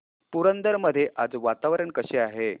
पुरंदर मध्ये आज वातावरण कसे आहे